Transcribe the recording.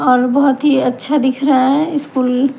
और बहोत ही अच्छा दिख रहा है स्कूल ।